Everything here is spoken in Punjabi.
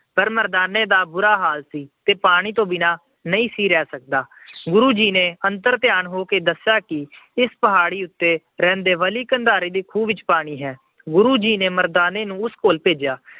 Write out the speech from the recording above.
ਪਰ ਮਰਦਾਨੇ ਦਾ ਬੁਰਾ ਹਾਲ ਸੀ ਤੇ ਉਹ ਪਾਣੀ ਤੋਂ ਬਿਨਾਂ ਨਹੀਂ ਸੀ ਰਹਿ ਸਕਦਾ। ਫਿਰ ਗੁਰੂ ਜੀ ਨੇ ਅੰਤਰ ਧਿਆਨ ਹੋ ਕੇ ਦੱਸਿਆ ਕਿ ਇਸ ਪਹਾੜੀ ਉਤੇ ਰਹਿੰਦੇ ਬਲੀ ਕੰਧਾਰੇ ਦੇ ਖੂਹ ਵਿੱਚ ਪਾਣੀ ਹੈ। ਗੁਰੂ ਜੀ ਨੇ ਮਰਦਾਨੇ ਨੂੰ ਉਸ ਕੋਲ ਭੇਜਿਆ।